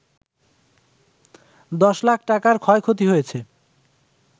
১০ লাখ টাকার ক্ষয়ক্ষতি হয়েছে